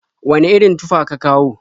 Wane irin tufa ka kawo?